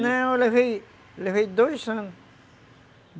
Não, eu levei levei dois anos.